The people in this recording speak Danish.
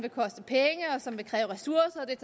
som vil kræve ressourcer